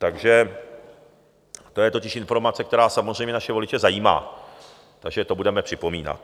Takže to je totiž informace, která samozřejmě naše voliče zajímá, takže to budeme připomínat.